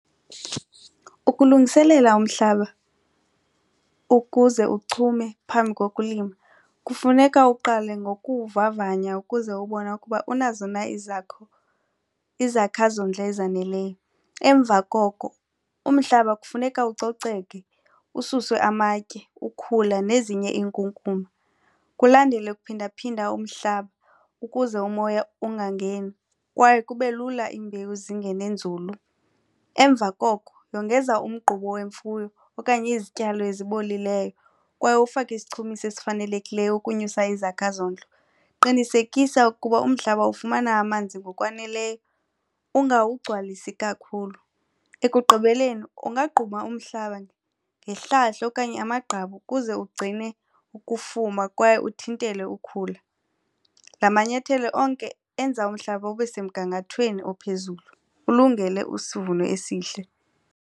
Ukulungiselela umhlaba ukuze uchume phambi kokulima kufuneka uqale ngokuwuvavanya ukuze ubone ukuba unazo na izakha zondlo ezaneleyo. Emva koko umhlaba kufuneka ucoceke, ususwe amatye ukhula nezinye iinkunkuma kulandele ukuphinda phinda umhlaba ukuze umoya ungangeni kwaye kube lula iimbewu zingene nzulu. Emva koko, yongeza umgquba wemfuyo okanye izityalo ezibolileyo kwaye ufake isichumiso esifanelekileyo ukunyusa izakha zondlo. Qinisekisa ukuba umhlaba ufumana amanzi ngokwaneleyo ungawugcwalisi kakhulu. Ekugqibeleni ungagquma umhlaba ngehlahla okanye amagqabi ukuze ugcine ukufuma kwaye uthintele ukhula. La manyathelo onke enza umhlaba ube semgangathweni ophezulu ulungele isivuno esihle.